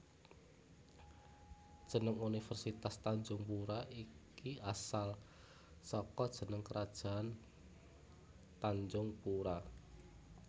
Jeneng Universitas Tanjungpura iki asal saka jeneng Krajaan Tanjungpura